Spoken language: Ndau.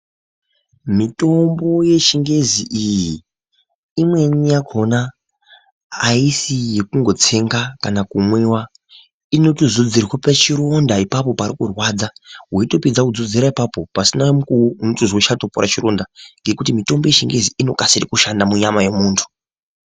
Mitombo yechingezi iyi imweni yakoma hayisi yekungotsenga kana kumwiwa, ino. tozodzerwa pachironda ipapo parikurwadza weyi topesdza kuzodzera apapo pasina mukuwo unotizwa chatioera chironda ngekuti mitombo yechingezi inokasira kushanda munyama memuntu.